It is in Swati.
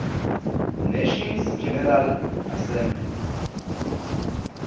nations general assembly